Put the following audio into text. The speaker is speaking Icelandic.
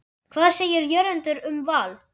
Hvað segir Jörundur um Val?